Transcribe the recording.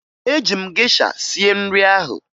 Eji m gesha sie nri ahụ